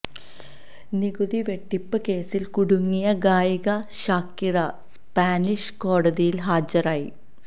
നികുതി വെട്ടിപ്പ് കേസില് കുടുങ്ങിയ ഗായിക ഷാക്കിറ സ്പാനിഷ് കോടതിയില് ഹാജരായി